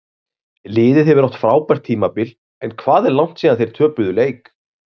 Liðið hefur átt frábært tímabil en hvað er langt síðan þeir töpuðu leik?